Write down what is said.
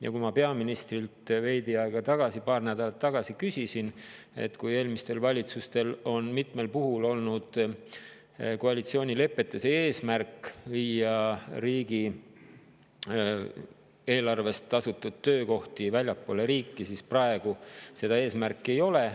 Ja kui ma peaministrilt veidi aega tagasi, paar nädalat tagasi küsisin, et kui eelmistel valitsustel on mitmel puhul olnud koalitsioonilepetes eesmärk viia riigieelarvest tasustatud töökohti väljapoole, siis praegu seda eesmärki ei ole.